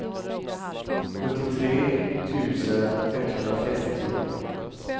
sjuttiotre tusen etthundrafemtio